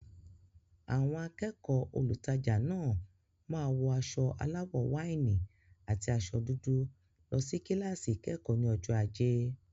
Àwọn akẹ́kọ̀ọ́ olùtajà náà máa wọ aṣọ aláwọ̀ wáìnì àti aṣọ dúdú lọ sí kíláàsì ìkẹ́kọ̀ọ́ ní ọjọ́ ajé.